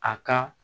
A ka